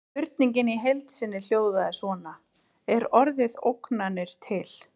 Spurningin í heild sinni hljóðaði svona: Er orðið ógnanir til?